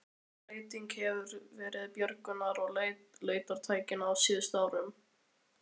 Hvaða breyting hefur verið björgunar- og leitartækni á síðustu árum?